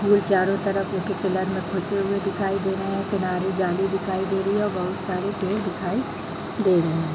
और चारों तरफ उनके पिलर में घुसे हुए दिखाई दे रहे है किनारें जाली दिखाई दे रही है और बहुत सारे पेड़ दिखाई दे रहे हैं।